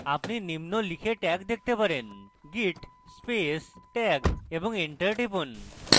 আপনি নিম্ন লিখে tag দেখতে পারেন git space tag এবং enter টিপুন